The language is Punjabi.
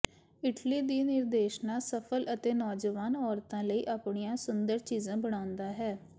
ਇਟਲੀ ਦੀ ਨਿਰਦੇਸ਼ਨਾ ਸਫਲ ਅਤੇ ਨੌਜਵਾਨ ਔਰਤਾਂ ਲਈ ਆਪਣੀਆਂ ਸੁੰਦਰ ਚੀਜ਼ਾਂ ਬਣਾਉਂਦਾ ਹੈ